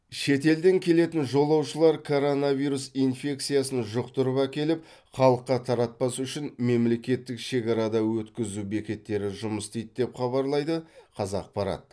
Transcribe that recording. шетелден келетін жолаушылар коронавирус инфекциясын жұқтырып әкеліп халыққа таратпас үшін мемлекеттік шекарада өткізу бекеттері жұмыс істейді деп хабарлайды қазақпарат